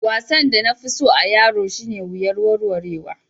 Wasan da na fi so a'yaro shine wuyar warwarewa.